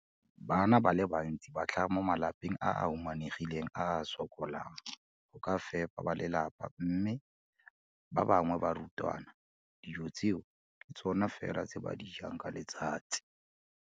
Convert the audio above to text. Bana ba le bantsi ba tlhaga mo malapeng a a humanegileng a a sokolang go ka fepa ba lelapa mme ba bangwe ba barutwana, dijo tseo ke tsona fela tse ba di jang ka letsatsi.